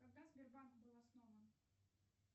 когда сбербанк был основан